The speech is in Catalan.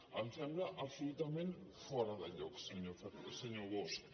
em sembla absolutament fora de lloc senyor bosch